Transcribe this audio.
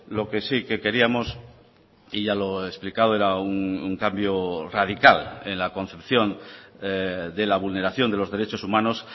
lo que sí que queríamos y ya lo he explicado era un cambio radical en la concepción de la vulneración de los derechos humanos